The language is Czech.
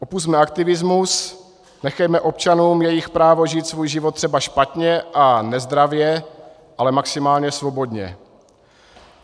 Opusťme aktivismus, nechejme občanům jejich právo žít svůj život třeba špatně a nezdravě, ale maximálně svobodně.